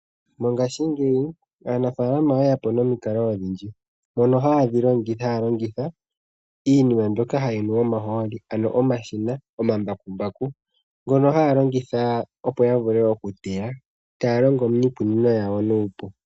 Mongaashingeyi aanafaalama oyeyapo nomikalo odhindji mono haya longitha iinima mbyoka hayi nu omahooli ano omashina gomambakumbaku ngono haya longitha opo yavule okuteya taya longo miikunino yawo nuupu.